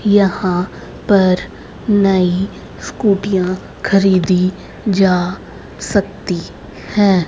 यहां पर नई स्कूटियां खरीदी जा सकती है।